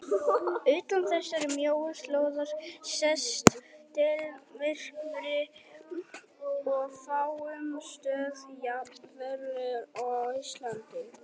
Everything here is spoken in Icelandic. Utan þessarar mjóu slóðar sést deildarmyrkvi og á fáum stöðum jafn verulegur og á Íslandi.